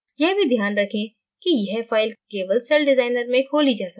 यह भी ध्यान रखें कि यह file केवल celldesigner में खोली जा सकती है